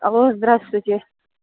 алло здравствуйте